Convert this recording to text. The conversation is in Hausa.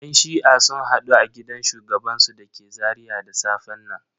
Yan shi'a sun hadu a gidan shugabansu da ke Zaria da safen nan.